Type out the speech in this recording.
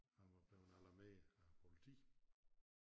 Han var blevet alarmeret af æ politi